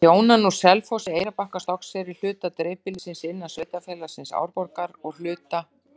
Þær þjóna nú Selfossi, Eyrarbakka, Stokkseyri, hluta dreifbýlis innan sveitarfélagsins Árborgar og hluta